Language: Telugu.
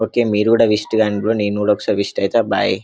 ఓకే మీరు కూడా విసిట్ కండి బ్రో నెం కూడా ఒకసారి విసిట్ అయితా బాయ్ .